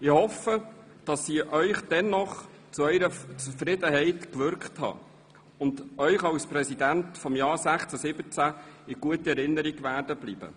Ich hoffe, ich habe dennoch zu Ihrer Zufriedenheit gewirkt und werde euch als Präsident des Grossen Rats für die Jahre 2016/2017 in guter Erinnerung bleiben.